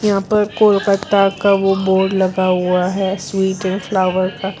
यहां पर कोलकाता का वह बोर्ड लगा हुआ है स्वीट ऐंड फ्लावर का।